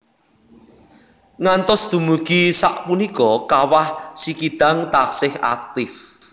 Ngantos dumugi sapunika Kawah Sikidang taksih aktif